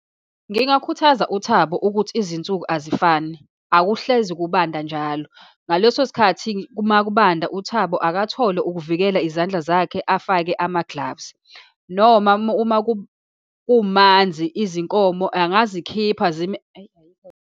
Ngingakhuthaza uThabo ukuthi izinsuku azifani, akuhlezi kubanda njalo. Ngaleso sikhathi uma kubanda, uThabo akathole ukuvikela izandla zakhe, afake ama-gloves, noma uma kumanzi izinkomo angazikhipha zime, ayi ayikho .